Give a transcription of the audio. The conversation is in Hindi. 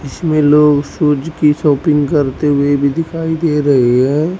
इसमें लोग शूज की शॉपिंग करते हुए भी दिखाई दे रहे हैं।